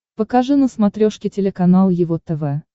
покажи на смотрешке телеканал его тв